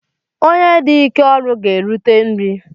Onye dị ike ọrụ ga-erute nri